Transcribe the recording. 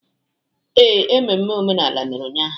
Ee, emume omenala mere ụnyahụ.